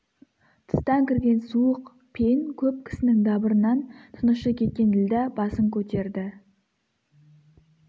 тыстан кірген суық пен көп кісінің дабырынан тынышы кеткен ділдә басын көтерді